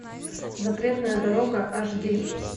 запретная дорога аш ди